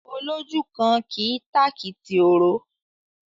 Olójúkan kì í tàkìtì òró.